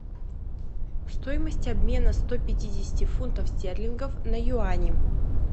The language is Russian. стоимость обмена сто пятидесяти фунтов стерлингов на юани